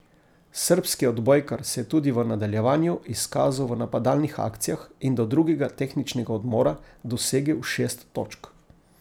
Srbski odbojkar se je tudi v nadaljevanju izkazal v napadalnih akcijah in do drugega tehničnega odmora dosegel šest točk.